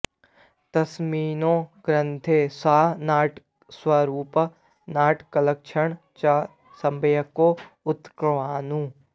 तस्मिन् ग्रन्थे सः नाट्यस्वरूपं नाटकलक्षणं च सम्यक् उक्तवान्